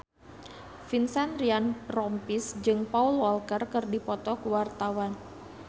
Vincent Ryan Rompies jeung Paul Walker keur dipoto ku wartawan